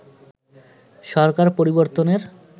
সরকার পরিবর্তনের